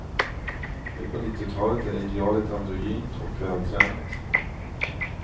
Nu på nittiotalet är idealet androgynt och vältränat.